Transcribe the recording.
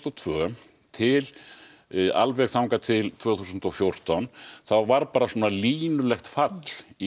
og tvö til til tvö þúsund og fjórtán þá var línulegt fall í